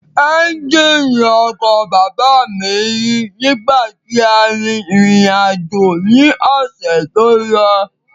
Ẹ́ńjìnì ọkọ̀ bàbá mi yí nígbà tí à ń rírìn àjò ni ọ̀sẹ̀ tó lọ